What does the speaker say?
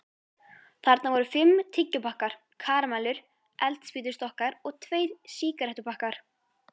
Þarna voru fimm tyggjópakkar, karamellur, eldspýtustokkar og tveir sígarettupakkar.